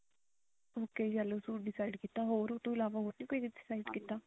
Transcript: ਤੁਸੀਂ suit decide ਕੀਤਾ ਹੋਰ ਉਹਤੋਂ ਇਲਾਵਾ ਹੋਰ ਨੀ ਕੀ decide ਕੀਤਾ